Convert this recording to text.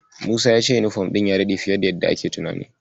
Musa ya ce yunifom ɗin sun ya daɗe fiye da yadda akayi tunani.